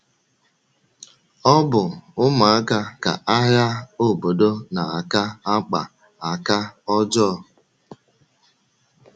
Ọ bụ ụmụaka ka agha obodo na - aka akpa aka ọjọọ.